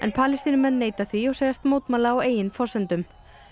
Palestínumenn neita því og segjast mótmæla á eigin forsendum